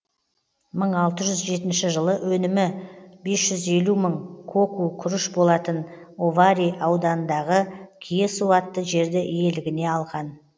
мың алты жүз жетінші жылы өнімі бес жүз елу мың коку күріш болатын овари ауданындағы киесу атты жерді иелігіне алған